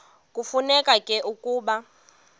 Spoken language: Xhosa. kufuneka ke ukuba